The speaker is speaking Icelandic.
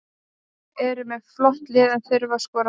Eru með flott lið en þurfa að skora meira.